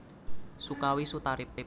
Sukawi Sutarip